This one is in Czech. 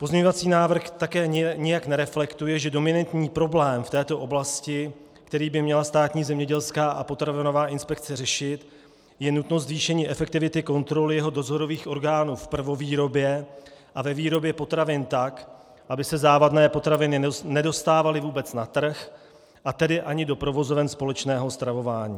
Pozměňovací návrh také nijak nereflektuje, že dominantní problém v této oblasti, který by měla Státní zemědělská a potravinová inspekce řešit, je nutnost zvýšení efektivity kontrol jeho dozorových orgánů v prvovýrobě a ve výrobě potravin tak, aby se závadné potraviny nedostávaly vůbec na trh, a tedy ani do provozoven společného stravování.